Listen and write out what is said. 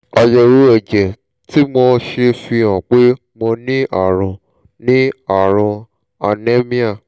àyẹ̀wò ẹ̀jẹ̀ tí mo ṣe fi hàn pé mo ní ààrùn ní ààrùn anaemia